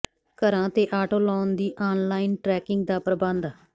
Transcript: ਘਰਾਂ ਤੇ auto loan ਦੀ ਆਨਲਾਇਨ ਟਰੈਕਿੰਗ ਦਾ ਪ੍ਰਬੰਧ